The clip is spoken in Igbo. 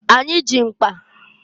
Anyị ji mkpa.